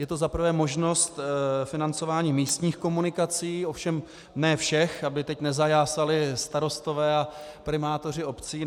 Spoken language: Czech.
Je to za prvé možnost financování místních komunikací, ovšem ne všech, aby teď nezajásali starostové a primátoři obcí.